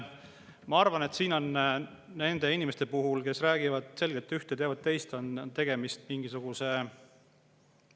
Ma arvan, et siin on nende inimeste puhul, kes räägivad selgelt üht ja teevad teist, tegemist mingisuguse …